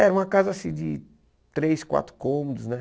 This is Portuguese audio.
Era uma casa, assim, de três, quatro cômodos, né?